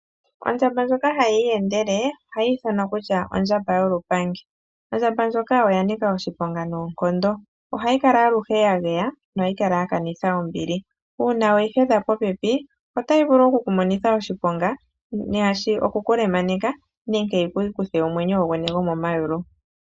Ondjamba ndjoka hayii yendele ohayi ithanwa ondjamba yolupangi, ondjamba ndjoka oyanika oshiponga noonkondo molwaashoka ohayi kala aluhe yageya nohayi kala yakanitha ombili, uuna weyi hedha popepi otayi vulu okuku monitha oshiponga nenge oku kukutha omwenyo gwomomayulu.